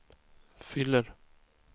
fyller